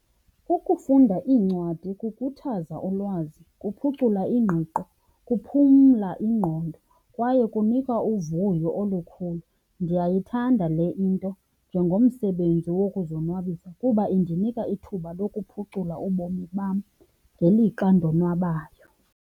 Ukufunda iincwadi kukhuthaza ulwazi, kuphucula ingqiqo, kuphumla ingqondo kwaye kunika uvuyo olukhulu. Ndiyayithanda le into njengomsebenzi wokuzonwabisa kuba indinika ithuba lokuphucula ubomi bam ngelixa ndonwabayo.